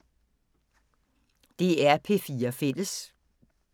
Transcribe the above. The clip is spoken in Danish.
DR P4 Fælles